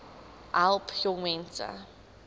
besp help jongmense